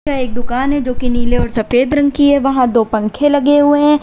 यह एक दुकान है जो कि नीले और सफेद रंग की है वहां दो पंखे लगे हुए है।